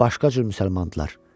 Başqa cür müsəlmandılar.